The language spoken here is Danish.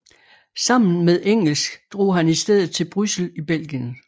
Sammen med Engels drog han i stedet til Bryssel i Belgien